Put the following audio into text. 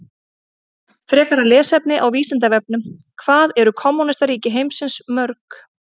Frekara lesefni á Vísindavefnum: Hvað eru kommúnistaríki heimsins mörg?